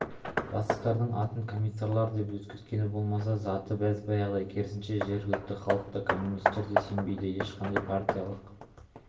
бастықтардың атын комиссарлар деп өзгерткені болмаса заты бәз-баяғыдай керісінше жергілікті халық та коммунистерге сенбейді ешқандай партиялық